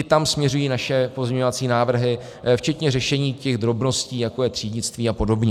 I tam směřují naše pozměňovací návrhy, včetně řešení těch drobností, jako je třídnictví a podobně.